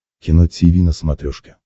кино тиви на смотрешке